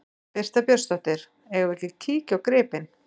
Birta Björnsdóttir: Eigum við ekki að kíkja á gripinn?